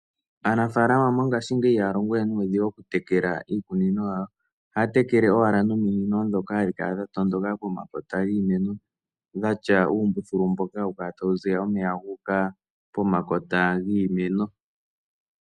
Aanafaalama mongashingeyi ihaya longo we nuudhigu mokutekula iikunino yawo, ohaya tekele owala nominino dhoka hadhi kala dhatondoka pomakota giimeno dhatya uumbuthulu mboka hawu kala tawu ziya omeya guuka pomakota giimeno.